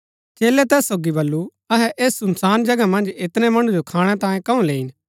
चेलै तैस सोगी बल्लू अहै ऐस सुनसान जगह मन्ज ऐतनै मणु जो खाणै तांयें कंऊ लैईन